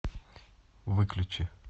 выключи